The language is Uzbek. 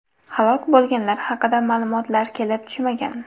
Halok bo‘lganlar haqida ma’lumotlar kelib tushmagan.